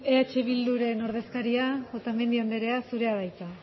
eh bilduren ordezkaria otamendi andrea zurea da hitza